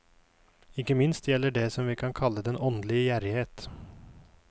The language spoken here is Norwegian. Ikke minst gjelder det som vi kan kalle den åndelige gjerrighet.